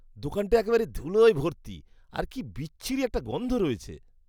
দোকানটা একেবারে ধুলোয় ভর্তি, আর কি বিচ্ছিরী একটা গন্ধ রয়েছে।